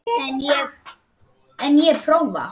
En ég prófa.